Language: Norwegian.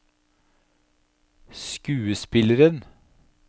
skuespilleren